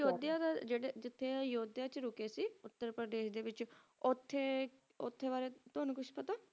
ਹਮ ਤੁਵਾਂਨੂੰ ਪਤਾ ਹੈ ਅਯੁੱਦਿਆ ਦੇ ਵਿਚ ਜਿਥੇ ਰੁੱਕੇ ਸੀ ਉੱਤਰ ਪਰਦੇਸ਼ ਦੇ ਵਿਚ ਉਥੇ ਉਡਦੇ ਬਾਰੇ ਤੁਵਾਂਨੂੰ ਪਤਾ ਹੈ ਕੁਛ